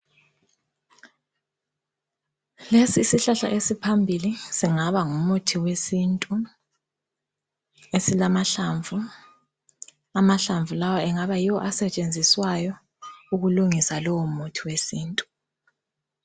Lesisihlahla esiphambili singaba ngumuthi wesintu esilamahlamvu. Amahlamvu lawa engaba yiwo asetshenziswayo ukulungisa lowomuthi wesintu.